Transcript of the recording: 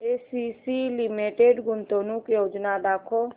ACC limited गुंतवणूक योजना दाखव